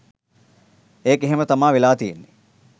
ඒක එහෙම තමා වෙලා තියෙන්නෙ.